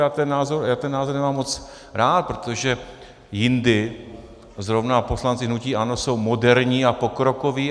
Já ten názor nemám moc rád, protože jindy zrovna poslanci hnutí ANO jsou moderní a pokrokoví.